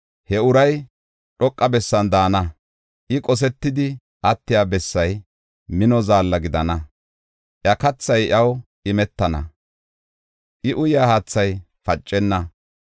he uray dhoqa bessan daana. I, qosetidi attiya bessay mino zaalla gidana; iya kathay iyaw imetana; I, uyaa haathay pacenna.